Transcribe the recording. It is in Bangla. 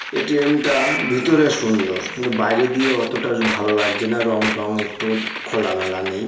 এ.টি.এম. টা ভিতরে সুন্দর কিন্তু বাইরে দিয়ে অতটা ভালো লাগছে না। রং টং একটু খোলামেলা নেই।